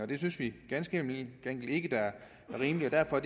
det synes vi ganske enkelt ikke er rimeligt derfor